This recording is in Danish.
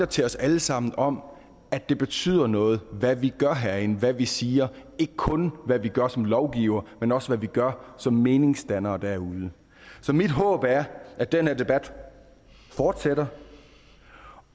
til os alle sammen om at det betyder noget hvad vi gør herinde hvad vi siger og ikke kun hvad vi gør som lovgivere men også hvad vi gør som meningsdannere derude så mit håb er at den her debat fortsætter